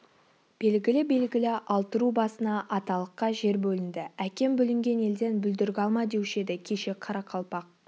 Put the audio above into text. белгілі-белгілі алты ру басына аталыққа жер бөлінді әкем бүлінген елден бүлдіргі алма деуші еді кеше қарақалпақ